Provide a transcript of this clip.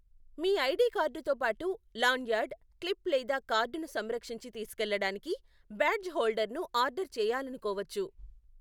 మీ ID కార్డుతో పాటు, lanyard, clip లేదా కార్డును సంరక్షించి తీసుకెళ్లడానికి బ్యాడ్జ్ హోల్డర్ను ఆర్డర్ చేయాలనుకోవచ్చు.